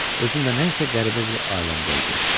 Özümdə nə isə qəribə bir aləmdəydim.